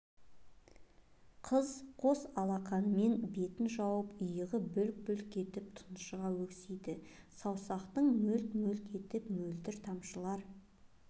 қыз қос алақанымен бетін жауып иығы бүлк-бүлк етіп тұншыға өксиді саусақтың мөлт-мөлт етіп мөлдір тамшылар